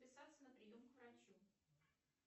записаться на прием к врачу